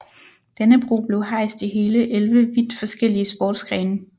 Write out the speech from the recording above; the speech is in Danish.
Dannebrog blev hejst i hele 11 vidt forskellige sportsgrene